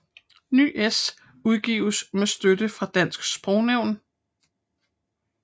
NyS udgives med støtte fra Dansk Sprognævn